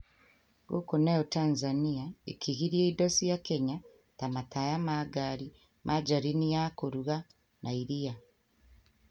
Gũkũ nayo Tanzania ĩkĩgiria indo cia Kenya ta mataya ma ngari, margarini ya kũruga na iria.